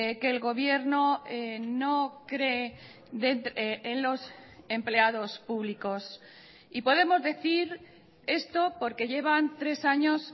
que el gobierno no cree en los empleados públicos y podemos decir esto porque llevan tres años